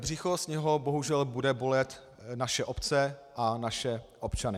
Břicho z něho bohužel bude bolet naše obce a naše občany.